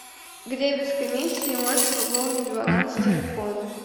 где без комиссии можно пополнить баланс телефона